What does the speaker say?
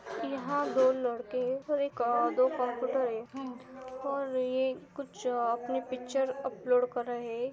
यहां दो लड़के एक और दो कंप्यूटर है और यह कुछ अपनी पिक्चर अपलोड कर रहे है।